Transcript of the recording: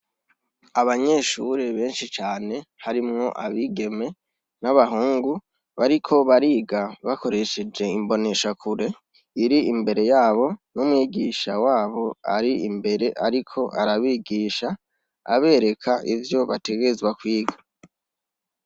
Abanyeshuri benshi cane harimwo abigeme n'abahungu. Bariko bariga bakoresheje imboneshakure iri imbere yabo, n'umwigisha wabo ari imbere ariko arabigisha abereka ivyo bategerezwa kwiga.